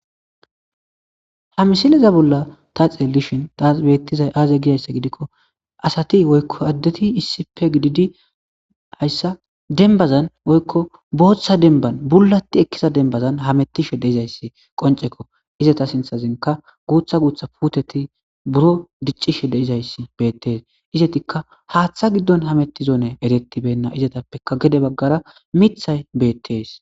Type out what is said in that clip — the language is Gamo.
Ha misileza bolla ta xeelishin taa bettizay aaze gidayssa gidikko asati woykko addeti issipe gididi hayssa denbazan woykko booththa denban bullati ekkiza dembazan hamettishe de izayssi qoncekko izata sinthazenka guutha guutha puteti buro diccishe deizays beettees izetikka haaththa giddon hametti zoone erettibenna izatappeka gede baggara mithay beettees.